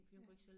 Ja